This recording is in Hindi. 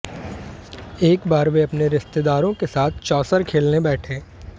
एक बार वे अपने रिश्तेदारों के साथ चौसर खेलने बैठे